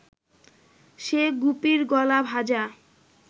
সে গুপির গলা ভাঁজা